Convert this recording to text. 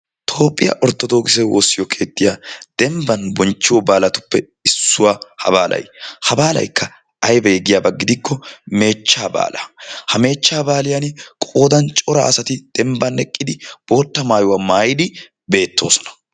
toophiyaa orttoodokkise woosiyoo keettiyaa debban bonchiyoo baalatuppe issuwaa ha baalay. ha baalaykka aybee giyaaba gidikko meechchaa baalaa. ha meechchaa baaliyaani qoodan cora asati dembban eqqidi bootta mayuwaa mayidi bettoosona.